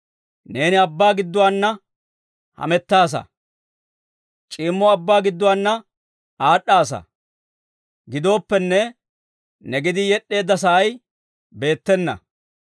Neeni abbaa gidduwaana hamettaasa; c'iimmo abbaa gidduwaana aad'aassa; gidooppenne, ne gedii yed'd'eedda sa'ay beettena.